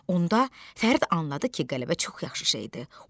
Onda Fərid anladı ki, qələbə çox yaxşı şeydir.